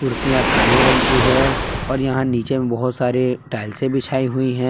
कुर्सियां काले रंग की है और यहां नीचे में बहुत सारे टाइल्से बिछाई हुई है।